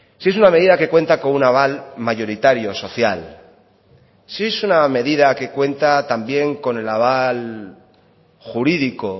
si es una medida que cuenta con un aval mayoritario social si es una medida que cuenta también con el aval jurídico